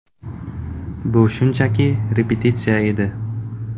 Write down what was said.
Bu shunchaki repetitsiya edi.